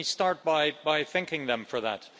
So let me start by thanking them for that.